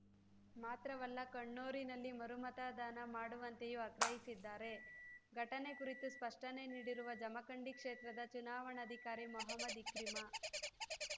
ಮಾತ್ರವಲ್ಲ ಕೊಣ್ಣೂರಿನಲ್ಲಿ ಮರುಮತದಾನ ಮಾಡುವಂತೆಯೂ ಆಗ್ರಹಿಸಿದ್ದಾರೆ ಘಟನೆ ಕುರಿತು ಸ್ಪಷ್ಟನೆ ನೀಡಿರುವ ಜಮಖಂಡಿ ಕ್ಷೇತ್ರದ ಚುನಾವಣಾಧಿಕಾರಿ ಮೊಹಮ್ಮದ್‌ ಇಕ್ರಿಮ